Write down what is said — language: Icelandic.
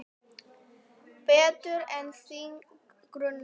Betur en þig grunar.